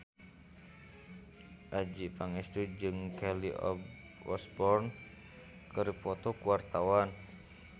Adjie Pangestu jeung Kelly Osbourne keur dipoto ku wartawan